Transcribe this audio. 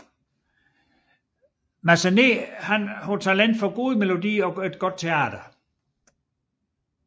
Massenet havde talent for gode melodier og godt teater